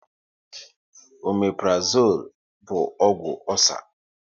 Ọmeprazole bụ ọgwụ ọcer